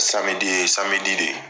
, ye de ye.